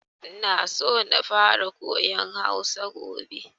Ina so na fara koyan Hausa gobe.